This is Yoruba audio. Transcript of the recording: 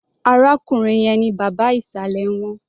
Arákùnrin yẹn ni bàbá ìsàlẹ̀ wọn.